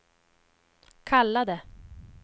kallade